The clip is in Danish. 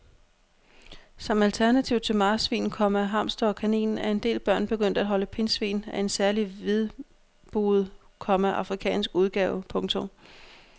Som alternativ til marsvin, komma hamster og kanin er en del børn begyndt at holde pindsvin af en særlig hvidbuget, komma afrikansk udgave. punktum